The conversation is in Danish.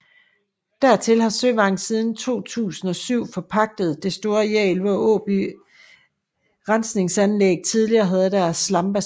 Dertil har Søvang siden 2007 forpagtet det store areal hvor Åby Rensningsanlæg tidligere havde deres slambassiner